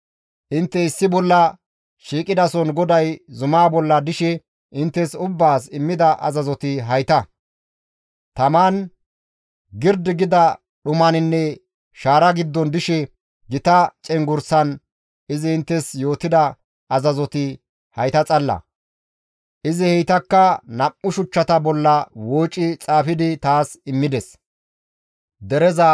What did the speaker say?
«Intte issi bolla shiiqidason GODAY zumaa bolla dishe inttes ubbaas immida azazoti hayta; taman, girdi gida dhumaninne shaara giddon dishe gita cenggurssan izi inttes yootida azazoti hayta xalla; izi heytakka nam7u shuchchata bolla wooci xaafidi taas immides.